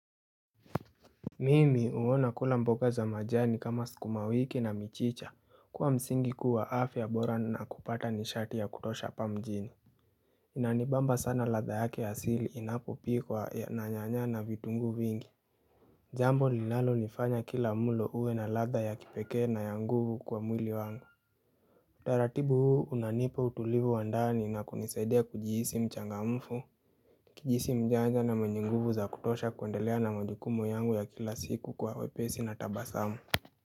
Mimi uona kula mboga za majani kama sukuma wiki na michicha kuwa msingi kuu wa afya bora na kupata nishati ya kutosha hapa mjini Inanibamba sana ladha yake asili inapopikuwa na nyanya na vitunguu vingi Jambo linalolifanya kila mlo uwe na ladha ya kipekee na ya nguvu kwa mwili wangu taratibu huu unanipa utulivu wa ndani na kunisaidia kujihisi mchangamfu kujihisi mjanja na mwenye nguvu za kutosha kuendelea na majukumu yangu ya kila siku kwa wepesi na tabasamu.